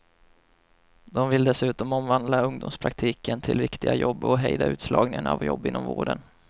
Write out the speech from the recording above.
De vill dessutom omvandla ungdomspraktiken till riktiga jobb och hejda utslagningen av jobb inom vården.